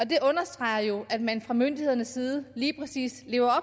det understreger jo at man fra myndighedernes side lige præcis lever